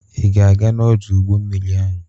Ị ga-aga n'ọdụ ụgbọ mmiri ahụ?